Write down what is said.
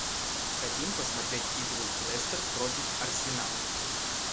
хотим посмотреть игру лестер против арсенал